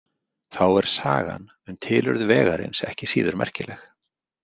Þá er sagan um tilurð vegarins ekki síður merkileg.